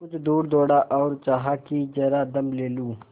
कुछ दूर दौड़ा और चाहा कि जरा दम ले लूँ